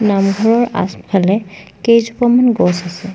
নামঘৰৰ আচফালে কেইজোপামান গছ আছে।